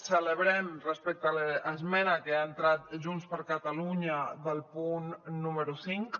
celebrem respecte a l’esmena que ha entrat junts per catalunya del punt número cinc